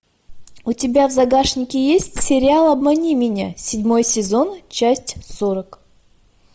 у тебя в загашнике есть сериал обмани меня седьмой сезон часть сорок